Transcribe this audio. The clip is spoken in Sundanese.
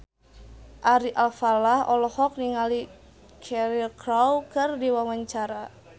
Ari Alfalah olohok ningali Cheryl Crow keur diwawancara